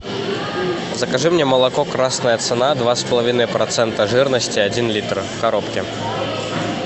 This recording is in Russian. закажи мне молоко красная цена два с половиной процента жирности один литр в коробке